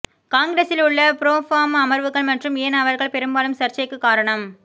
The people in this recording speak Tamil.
காங்கிரசில் உள்ள ப்ரோ ஃபார்ம அமர்வுகள் மற்றும் ஏன் அவர்கள் பெரும்பாலும் சர்ச்சைக்கு காரணம்